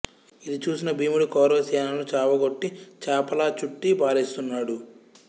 ఇది చూసిన భీముడు కౌరవ సేనలను చావకొట్టి చాపలా చుట్టి పారేస్తున్నాడు